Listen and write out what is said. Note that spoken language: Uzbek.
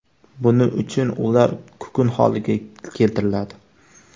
Buning uchun ular kukun holiga keltiriladi.